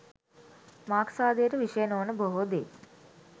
මාක්ස්වාදයට විෂය නොවන බොහෝ දේ